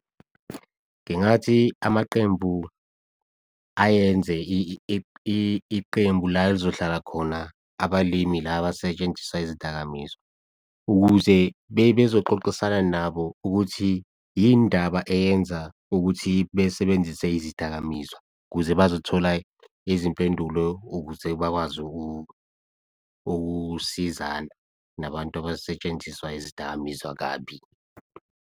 Ngingathi amaqembu ayenze iqembu la elizohlala khona abalimi la abasetshenziswa izidakamizwa ukuze bezoxoxisana nabo ukuthi yindaba eyenza ukuthi besebenzise izidakamizwa ukuze bazothola izimpendulo ukuze bakwazi ukusizana nabantu abasetshenziswa izidakamizwa kabi.